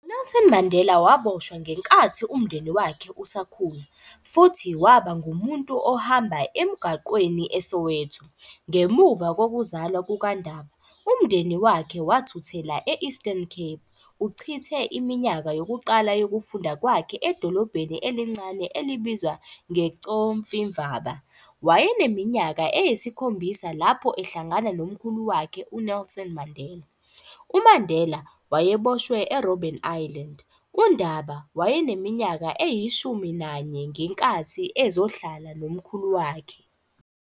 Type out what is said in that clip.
UNelson Mandela waboshwa ngenkathi umndeni wakhe usakhula, futhi waba ngumuntu ohamba emgwaqweni eSoweto. Ngemuva kokuzalwa kukaNdaba, umndeni wakhe wathuthela e-Eastern Cape. Uchithe iminyaka yokuqala yokufunda kwakhe edolobheni elincane elibizwa ngeCofimvaba. Wayeneminyaka eyisikhombisa lapho ehlangana nomkhulu wakhe uNelson Mandela. UMandela wayeboshwe eRobben Island. UNdaba wayeneminyaka eyishumi nanye ngenkathi ezohlala nomkhulu wakhe.